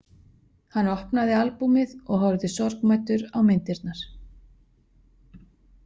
Hann opnaði albúmið og horfði sorgmæddur á myndirnar.